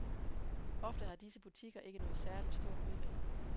Ofte har disse butikker ikke noget særligt stort udvalg.